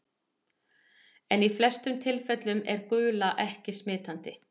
En í flestum tilfellum er gula ekki smitandi.